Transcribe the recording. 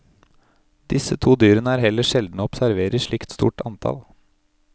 Disse to dyrene er heller sjeldne å observere i slikt stort antall.